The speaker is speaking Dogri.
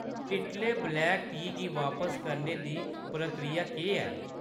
टिटले ब्लैक टी गी बापस करने दी प्रक्रिया केह् ऐ ?